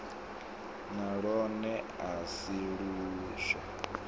na lwone a si luswa